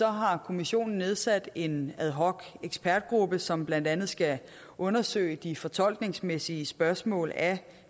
har kommissionen nedsat en ad hoc ekspertgruppe som blandt andet skal undersøge de fortolkningsmæssige spørgsmål af